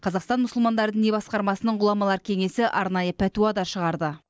қазақстан мұсылмандар діни басқармасының ғұламалар кеңесі арнайы пәтуа да шығарды